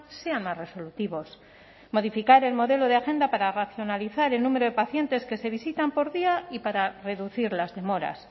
sean más resolutivos modificar el modelo de agenda para racionalizar el número de pacientes que se visitan por día y para reducir las demoras